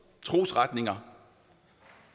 trosretninger og